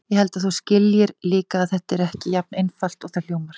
Ég held að þú skiljir líka að þetta er ekki jafn einfalt og það hljómar.